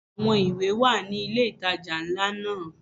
Àwọn ìwé wà ní ilé ìtajà ńlá náà.